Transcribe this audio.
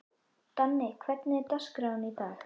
Danni, hvernig er dagskráin í dag?